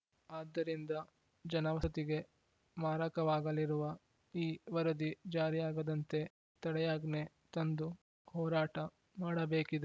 ಆದ್ದರಿಂದ ಜನವಸತಿಗೆ ಮಾರಕವಾಗಲಿರುವ ಈ ವರದಿ ಜಾರಿಯಾಗದಂತೆ ತಡೆಯಾಜ್ಞೆ ತಂದು ಹೋರಾಟ ಮಾಡಬೇಕಿದೆ